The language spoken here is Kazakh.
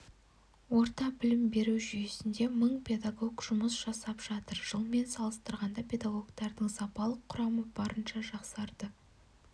орта білім беру жүйесінде мың педагог жұмыс жасап жатыр жылмен салыстырғанда педагогтардың сапалық құрамы барынша жақсарды